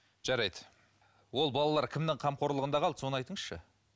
жарайды ол балалар кімнің қамқорлығында қалды соны айтыңызшы